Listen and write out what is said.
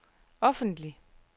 offentlig